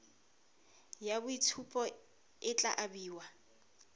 ya boitshupo e tla abiwa